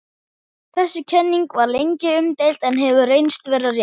Þessi kenning var lengi umdeild en hefur reynst vera rétt.